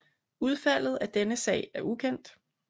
Udfaldet af denne sag er ukendt